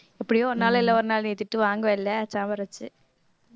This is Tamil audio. எப்படியோ ஒரு நாள் இல்லை ஒரு நாள் நீ திட்டு வாங்கவே இல்லை சாம்பார் வெச்சு